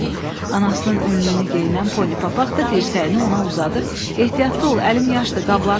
Anasının önlüyünü geyinən Pony Papaq da dirsəyini ona uzadıb ehtiyatlı ol, əlim yaşdı, qabları yumuşam.